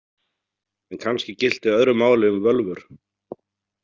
En kannski gilti öðru máli um völvur.